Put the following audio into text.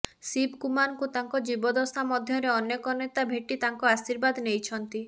ଶିବକୁମାରଙ୍କୁ ତାଙ୍କ ଜୀବଦ୍ଦଶା ମଧ୍ୟରେ ଅନେକ ନେତା ଭେଟି ତାଙ୍କ ଆଶୀର୍ବାଦ ନେଇଛନ୍ତି